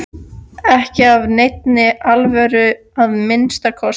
Ekki af neinni alvöru að minnsta kosti.